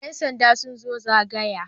Yan sanda sun zo zagaya.